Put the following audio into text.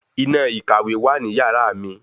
Iná ìkàwé wà ní yàrá mi